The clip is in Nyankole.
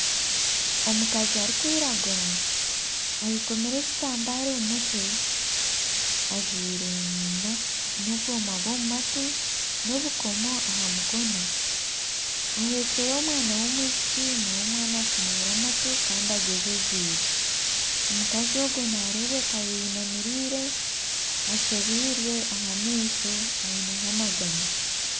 Omukazi arikwiragura ayekomire ekitamba omu mutwe ajwaire n'obwoma bw'omu matu n'obukomo aha mukono, aheekire omwana w'omwishiki n'omwana afumwire amatu kandi agwejegyeire. Omukazi ogwo nareebeka ayeyinamirire, ashobirwe aha maisho aineho amaganya.